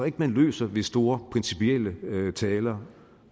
ikke man løser ved store principielle taler